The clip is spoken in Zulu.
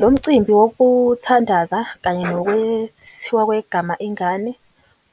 Lo mcimbi wokuthandaza kanye nokwethiwa kwegama ingane